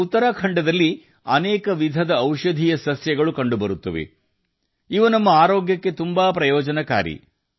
ಉತ್ತರಾಖಂಡದಲ್ಲಿ ಅನೇಕ ರೀತಿಯ ಔಷಧಿಗಳು ಮತ್ತು ಸಸ್ಯಗಳು ಕಂಡುಬರುತ್ತವೆ ಇದು ನಮ್ಮ ಆರೋಗ್ಯಕ್ಕೆ ತುಂಬಾ ಪ್ರಯೋಜನಕಾರಿಯಾಗಿದೆ